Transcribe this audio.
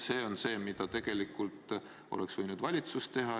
See on see, mida tegelikult oleks võinud valitsus teha.